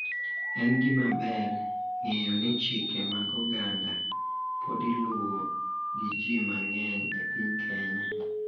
En gimaber ng`eyo ni chike mag oganda pod iluwo gi ji mang`eny e piny Kenya.